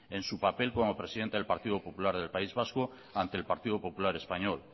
en su papel como presidenta del partido popular del país vasco ante el partido popular español